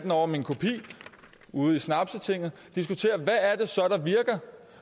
over min kopi ude i snapstinget diskutere